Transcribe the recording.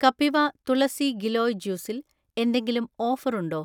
കപിവ തുളസി ഗിലോയ് ജ്യൂസ്സിൽ എന്തെങ്കിലും ഓഫർ ഉണ്ടോ?